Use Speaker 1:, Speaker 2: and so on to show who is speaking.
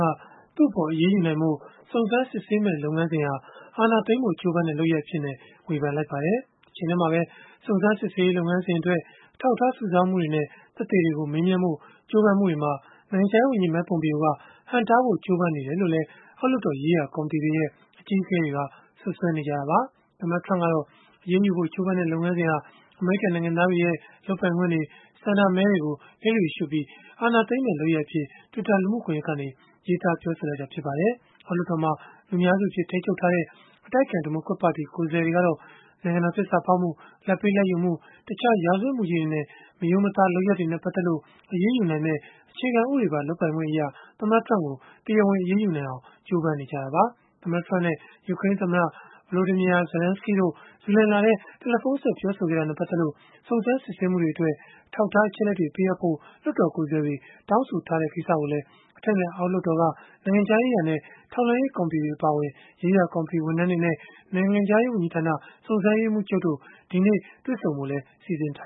Speaker 1: က သူ့အပေါ် အရေးယူနိုင်ဖို့ စုံစမ်းစစ်ဆေးမယ့် လုပ်ငန်းစဉ်ဟာ အာဏာသိမ်းဖို့ ကြိုးပမ်းတဲ့ လုပ်ရပ်အဖြစ် ဝေဖန်လိုက်ပါတယ်။ တချိန်တည်းမှာပဲ စုံစမ်းစစ်ဆေးရေး လုပ်ငန်းစဉ်အတွက် အထောက်အထား စုဆောင်းမှုတွေနဲ့ သက်သေတွေကို မေးမြန်းဖို့ ကြိုးပမ်းမှုတွေမှာ နိုင်ငံခြားရေးဝန်ကြီး Mike Pompeo က ဟန့်တားဖို့ ကြိုးပမ်းနေတယ်လို့လည်း အောက်လွှတ်တော် ရေးရာ ကော်မတီတွေရဲ့ အကြီးအကဲတွေက စွပ်စွဲနေကြတာပါ။ သမ္မတ Trump ကတော့ အရေးယူဖို့ ကြိုးပမ်းတဲ့ လုပ်ငန်းစဉ်ဟာ အမေရိကန် နိုင်ငံသားတွေရဲ့ လုပ်ပိုင်ခွင့်တွေ ဆန္ဒမဲတွေကို လျစ်လျုရှုပြီး အာဏာသိမ်းမယ့် လုပ်ရပ်အဖြစ် Twitter လူမှုကွန်ရက်ကနေ ရေးသားပြောဆိုခဲ့တာ ဖြစ်ပါတယ်။ အောက်လွှတ်တော်မှာ လူများစုအဖြစ် ထိန်းချုပ်ထားတဲ့ အတိုက်အခံ ဒီမိုကရက်ပါတီ ကိုယ်စားလှယ်တွေကတော့ နိုင်ငံတော် သစ္စာဖောက်မှု၊ လာဘ်ပေးလာဘ်ယူမှု၊ တခြားရာဇဝတ်မှုကြီးတွေနဲ့ မရိုးမသားလုပ်ရပ်တွေနဲ့ ပတ်သက်ပြီး အရေးယူနိုင်မယ့် အခြေခံဥပဒေပါ လုပ်ပိုင်ခွင့်အရ သမ္မတ Trump ကို တရားဝင် အရေးယူနိုင်အောင် ကြိုးပမ်းနေကြတာပါ။ သမ္မတ Trump နဲ့ ယူကရိန်းသမ္မတ Volodymyr Zelenskiy တို့ ဇူလိုင်လထဲ တယ်လီဖုန်းဆက် ပြောဆိုခဲ့တာနဲ့ ပတ်သက်လို့ စုံစမ်းစစ်ဆေးမှုတွေအတွက် အထောက်အထား အချက်အလက်တွေ ပေးအပ်ဖို့ လွှတ်တော်ကိုယ်စားလှယ်တွေ တောင်းဆိုထားတဲ့ ကိစ္စကိုလည်း အထက်နဲ့ အောက်လွှတ်တော်က နိုင်ငံခြားရေးရာနဲ့ ထောက်လှမ်းရေး ကော်မတီတွေ အပါအဝင် ရေးရာကော်မတီ ဝန်ထမ်းတွေနဲ့ နိုင်ငံခြားရေး ဝန်ကြီးဌာန စုံစမ်းရေးမှူးချုပ်တို့ ဒီကနေ့ တွေ့ဆုံဖို့လည်း စီစဉ်ထ